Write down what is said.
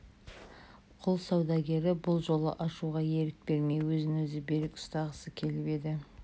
құл саудагері бұл жолы ашуға ерік бермей өзін өзі берік ұстағысы келіп еді